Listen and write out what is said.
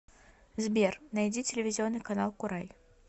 сбер найди телевизионный канал курай